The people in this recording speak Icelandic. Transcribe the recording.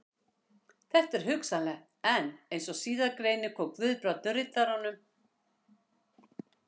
Þetta er hugsanlegt, en eins og síðar greinir kom Guðbrandur Riddaranum